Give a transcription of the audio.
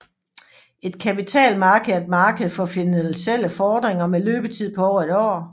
Et kapitalmarked er et marked for finansielle fordringer med løbetid på over et år